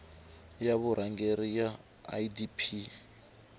ya vurhangeri ya idp yi